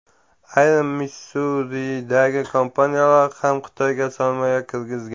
Ayrim Missuridagi kompaniyalar ham Xitoyga sarmoya kirgizgan.